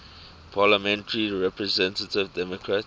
parliamentary representative democratic